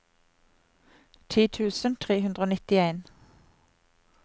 ti tusen tre hundre og nittien